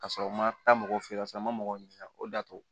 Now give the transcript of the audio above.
Ka sɔrɔ n ma taa mɔgɔw fɛ yen nɔ sa n ma mɔgɔ ɲininka o y'a to